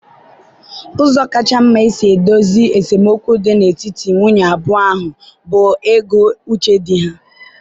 Ụzọ kacha mma isi dozie esemokwu dị n'etiti nwunye abụọ ahụ bụ ịgụ uche di ha?